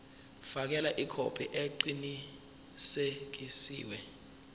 fakela ikhophi eqinisekisiwe